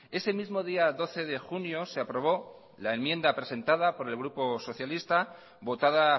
ese mismo día doce de junio se aprobó la enmienda presentada por el grupo socialista votada